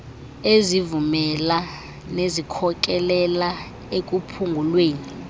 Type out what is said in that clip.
ezivumela nezikhokelela ekuphungulweni